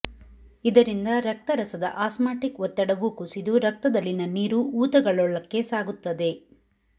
ಇದರಿಂದ ರಕ್ತರಸದ ಆಸ್ಮಾಟಿಕ್ ಒತ್ತಡವೂ ಕುಸಿದು ರಕ್ತದಲ್ಲಿನ ನೀರು ಊತಕಗಳೊಳಕ್ಕೆ ಸಾಗುತ್ತದೆ